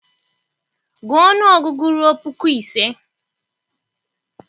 gụọ ọnụọgụgụ ruo puku ise!